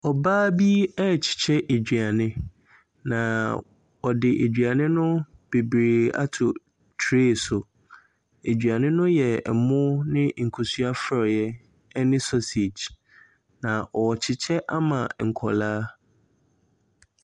Ɔbaa bi ɛrekyekyɛ aduane, na ɔde aduane bebree ato tray so. Aduane no yɛ ɛmo ne nkosua frɔeɛ ɛne sausage, na ɔrekyekyɛ ama nkwadaa.